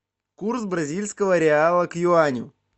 курс бразильского реала к юаню